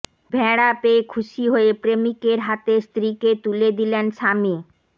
ভেড়া পেয়ে খুশি হয়ে প্রেমিকের হাতে স্ত্রীকে তুলে দিলেন স্বামী